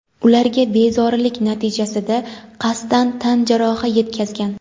ularga bezorilik natijasida qasddan tan jarohati yetkazgan.